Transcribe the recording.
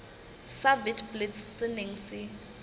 sa witblits se neng se